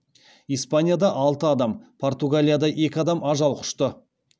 испанияда алты адам португалияда екі адам ажал құшты